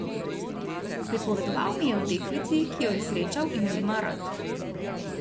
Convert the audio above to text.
Pripovedoval mi je o deklici, ki jo je srečal in jo ima rad.